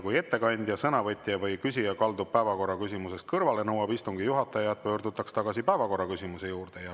Kui ettekandja, sõnavõtja või küsija kaldub päevakorraküsimusest kõrvale, nõuab istungi juhataja, et pöördutaks tagasi päevakorraküsimuse juurde.